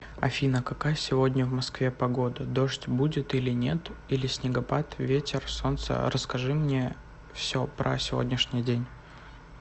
афина какая сегодня в москве погода дождь будет или нет или снегопад ветер солнце расскажи мне все про сегодняшний день